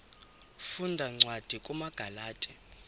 funda cwadi kumagalati